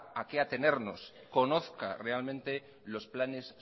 a qué atenernos conozca realmente los planes